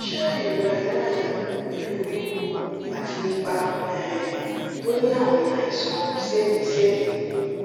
ṣé ìrora inú àyà pẹlú wíwú àti ipa um tó ní àmì àìsàn sẹmìísẹmìí